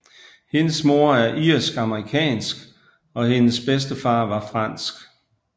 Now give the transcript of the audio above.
Hendes mor er irsk amerikansk og hendes bedstefar var fransk